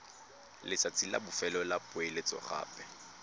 letsatsi la bofelo la poeletsogape